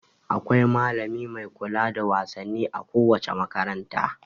Akwai malami mai kula da wasanni a kowace makaranta.